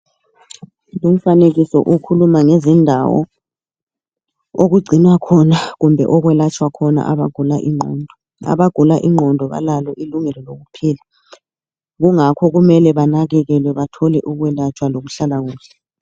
Lumfanekiso ukhuluma ngezindawo okugcinwa khona kumbe okwelatshwa khona abagula ingqondo abagula ingqondo balalo ilungelo lokuphila kungakho kumele banakekelwe bathole ukwelatshwa lokuhlala kuhle.